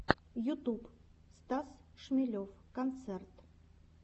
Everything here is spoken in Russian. ютуб стас шмелев концерт